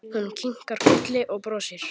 Hún kinkar kolli og brosir.